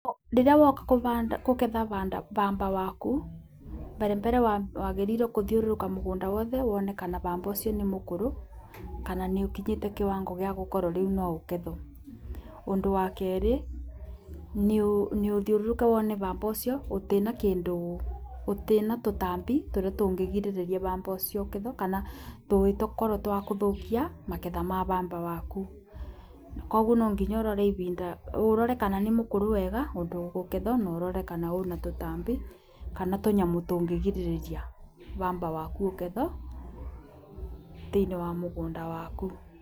Rĩrĩa woka kũgetha pamba waku mbere mbere wagĩrĩirwo kũthiũrũrũka mũgũnda wothe wone ka pamba ũcio nĩ mũkũrũ, kana nĩ ũkinyĩte kĩwango gĩa gũkorwo rĩu no ũgethwo. Ũndũ wa kerĩ nĩ ũthiũrũrũke wone pamba ũcio gutiĩ na kũndũ gũtiĩ na tũtambi tũrĩa tũngĩgirĩrĩria pamba ũcio ũkethwo kana tũngĩkrwo twa kũthũkia magetha ma pamba waku. Koguo no nginya ũrore ibinda ũrore kana nĩ mũkũrũ wega ũndũ ũkũgethwo na ũrore kana wĩna tũtambi, kana tũnyamũ tũngĩgirirĩria pamba waku ũgethwo thĩinĩ wa mũgũnda waku.